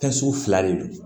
Kɛsu fila de don